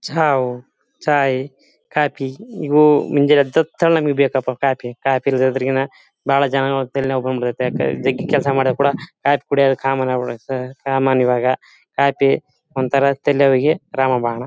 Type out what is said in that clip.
ಚಾವ್ ಚಾಯಿ ಕಾಫಿ ಇವು ಮುಂಜಾನೆ ಎದ್ದತ್ ತವಾ ನಮಗೆ ಬೇಕಪಾ ಕಾಫಿ ಕಾಫಿ ಇಲ್ದಿರ್ ಗಿನ ಬಹಳ ಜನಗಳ ಹೊಟ್ಟೆಲ್ ನೋವ್ ಬಂದ್ ಬಿಡತ್ತೆ ಜಗ್ಗಿ ಕೆಲಸ ಮಾಡೋಕ್ ಕೂಡ ಕಾಫಿ ಕುಡಿಯೋದು ಕಾಮನ್ ಈವಾಗ ಕಾಫಿ ಒಂಥರಾ ತಲೆ ನೋವಿಗೆ ರಾಮ ಬಾಣ .